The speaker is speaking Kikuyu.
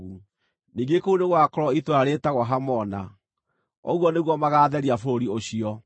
(Ningĩ kũu nĩgũgakorwo itũũra rĩĩtagwo Hamona.) Ũguo nĩguo magaatheria bũrũri ũcio.’